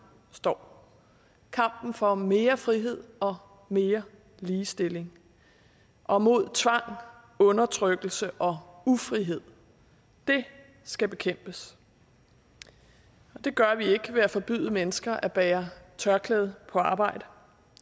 står kampen for mere frihed og mere ligestilling og mod tvang undertrykkelse og ufrihed det skal bekæmpes det gør vi ikke ved at forbyde mennesker at bære tørklæde på arbejde